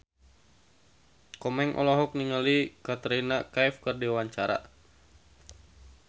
Komeng olohok ningali Katrina Kaif keur diwawancara